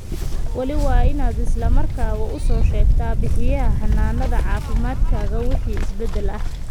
Weli, waa inaad isla markaaba u soo sheegtaa bixiyaha xanaanada caafimaadkaaga wixii isbeddel ah.